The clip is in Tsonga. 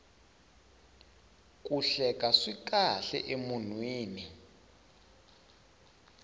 ku hleka swi kahle eka munhu